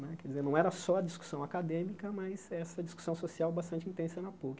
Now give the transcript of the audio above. Né quer dizer, não era só a discussão acadêmica, mas essa discussão social bastante intensa na Puc.